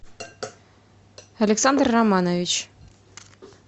александр романович